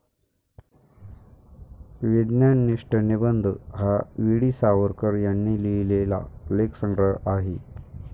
विज्ञाननिष्ठ निबंध हा वी.डी. सावरकर यांनी लिहिलेला लेखसंग्रह आहे.